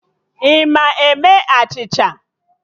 Ị ma eme achịcha?